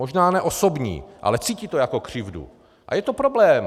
Možná ne osobní, ale cítí to jako křivdu a je to problém.